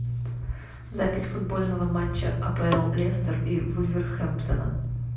запись футбольного матча апл лестер и вулверхэмптона